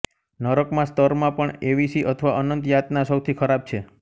નરકમાં સ્તરમાં પણ એવિસી અથવા અનંત યાતના સૌથી ખરાબ છે